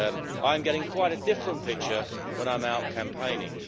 I am getting quite a different picture when I am out campaigning.